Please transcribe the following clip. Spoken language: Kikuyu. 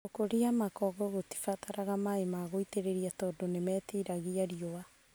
gũkũria makongo gũtibataraga maĩ magũitĩrĩria tando nĩmetiragia riũa